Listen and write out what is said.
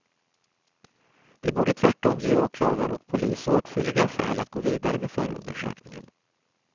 De borde tvärtom ge åklagare och polis åtskilliga skäl att gå vidare med förundersökningen.